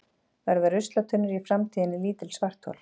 Verða ruslatunnur í framtíðinni lítil svarthol?